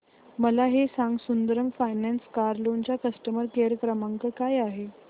मला हे सांग सुंदरम फायनान्स कार लोन चा कस्टमर केअर क्रमांक काय आहे